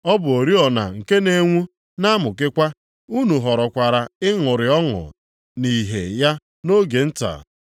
Ọ bụ oriọna nke na-enwu na-amụkekwa, unu họrọkwara ịṅụrị ọṅụ nʼìhè ya nʼoge nta.